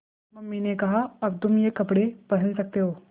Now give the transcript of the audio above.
mummy ने कहा अब तुम ये कपड़े पहन सकते हो